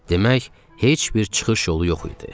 Demək, heç bir çıxış yolu yox idi.